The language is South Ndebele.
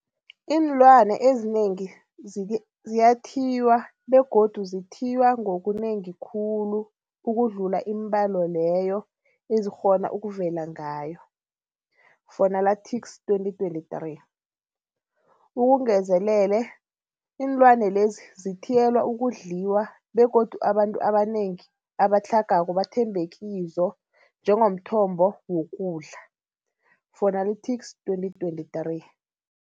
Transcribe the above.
Iinlwana ezinengi ziyathiywa begodu zithiywa ngonengi khulu ukudlula iimbalo leyo ezikghona ukuvela ngayo, Fuanalytics 2023. Ukungezelele, iinlwani lezi zithiyelwa ukudliwa begodu abantu abanengi abatlhagako bathembekizo njengomthombo wokudla, Fuanalytics 2023.